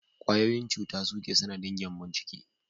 Ƙwayoyin cuta su ke sanadin gyambon ciki